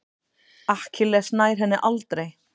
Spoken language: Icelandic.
Akkilles nær henni aldrei.